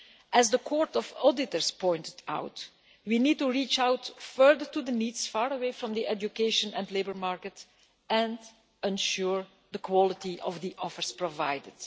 As the Court of Auditors pointed out, we need to reach out further to the NEETs far away from the education and labour market, and ensure the quality of the offers provided.